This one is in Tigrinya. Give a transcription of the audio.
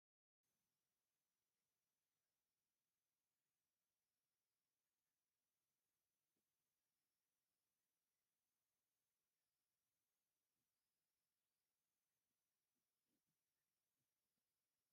እዚ ቦታ መይዳ ይኑ ኣብ ጥቕኡ ድማ ዓበይቲ ተኽልታት ይረኣይ ኣሎ ናይ ቖርቖሮ ግድግዳ እውን እንሄ ፡ ኣብኡ ጠጠ ው ኢላ ዘላ ንኡሽቶ ኣድጊ እንታይ ትበሃል ?